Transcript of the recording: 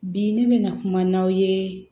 Bi ne bɛ na kuma n'aw ye